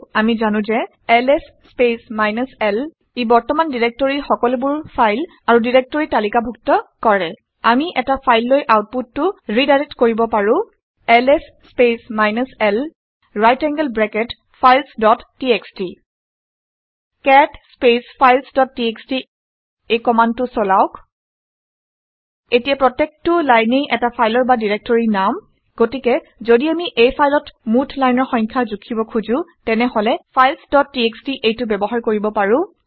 আমি জানো যে এলএছ স্পেচ মাইনাছ l এ প্ৰেজেন্ট ডাইৰেক্টৰীৰ সকলোবাৰ ফাইল আৰু ডাইৰেক্টৰী তালিকা ডুক্ত কৰে। আমি এটা ফাইললৈ আউটপুটটো ৰিডাইৰেক্ট কৰিব পাৰো - LS space minus l right angled bracket files dot TXT cat space files dot TXT এই কমাণ্ডটো চলাওক এতিয়া প্ৰত্যেকটো লাইনেই এটা ফালৰ বা ডিৰেক্টৰীৰ নাম। গতিকে ঘদি আমি এই ফাইলত মুঠ লাইনৰ সংখ্যা জুখিব খোজোঁ তেনেহলে ফাইলছ ডট txt - এইটো ব্যৱহাৰ কৰিব পাৰোঁ